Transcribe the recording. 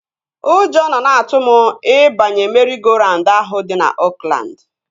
Ụjọ nọ na-atụ m ịbanye meri-go-raund ahụ dị na Oakland